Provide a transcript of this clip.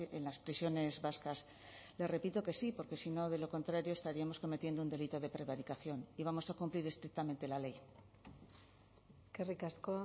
en las prisiones vascas le repito que sí porque si no de lo contrario estaríamos cometiendo un delito de prevaricación y vamos a cumplir estrictamente la ley eskerrik asko